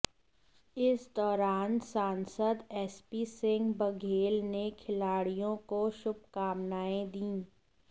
इस दौरान सांसद एसपी सिंह बघेल ने खिलाड़ियों को शुभकामनाएं दीं